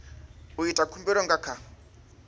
u ita khumbelo nga kha